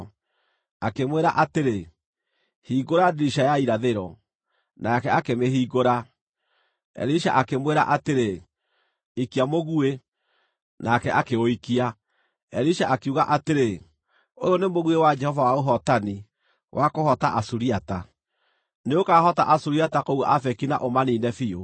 Akĩmwĩra atĩrĩ, “Hingũra ndirica ya irathĩro,” Nake akĩmĩhingũra. Elisha akĩmwĩra atĩrĩ, “Ikia mũguĩ!” Nake akĩũikia. Elisha akiuga atĩrĩ, “Ũyũ nĩ mũguĩ wa Jehova wa ũhootani, wa kũhoota Asuriata! Nĩũkahoota Asuriata kũu Afeki na ũmaniine biũ.”